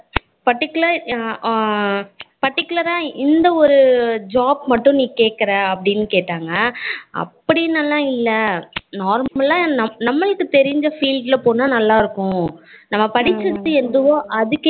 particular ஹம் ஆஹ் particular ஆஹ் இந்த ஒரு job மட்டும் நீ கேக்குற அப்படின்னு கேட்டாங்க அப்படினுலாம் இல்ல normal ஆஹ் நம்ம நம்மளுக்கு தெரிஞ்ச field ல போனா நல்லா இருக்கும் நம்ம படிச்சது எதுவோ அதுக்கே